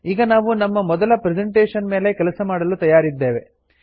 ಈಗ ನಾವು ನಮ್ಮ ಮೊದಲ ಪ್ರೆಸೆಂಟೇಷನ್ ಮೇಲೆ ಕೆಲಸ ಮಾಡಲು ತಯಾರಿದ್ದೇವೆ